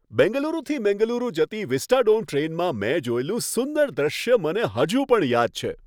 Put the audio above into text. બેંગલુરુથી મેંગલુરુ જતી વિસ્ટાડોમ ટ્રેનમાં મેં જોયેલું સુંદર દૃશ્ય મને હજુ પણ યાદ છે.